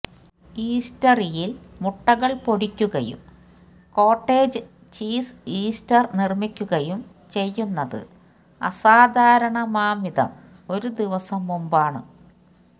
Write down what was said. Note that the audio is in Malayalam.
ഈസ്റ്റർയിൽ മുട്ടകൾ പൊടിക്കുകയും കോട്ടേജ് ചീസ് ഇസ്റ്റർ നിർമ്മിക്കുകയും ചെയ്യുന്നത് അസാധാരണമാംവിധം ഒരു ദിവസം മുൻപാണ്